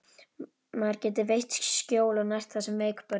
Maður getur veitt skjól og nært það sem er veikburða.